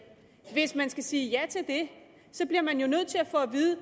hvis man skal sige ja til det bliver man jo nødt til at få at vide